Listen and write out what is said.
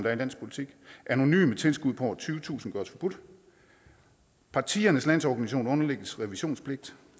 er i landspolitik anonyme tilskud på over tyvetusind kroner gøres forbudt partiernes landsorganisationer underlægges revisionspligt